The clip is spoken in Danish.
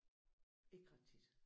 Ikke ret tit